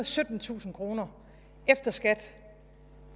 syttentusind kroner efter skat